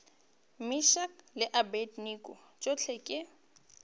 meshack le abednego tšohle ke